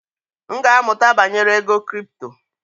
M ga-amụta banyere ego kripto.